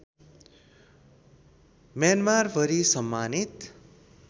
म्यानमारभरि सम्मानित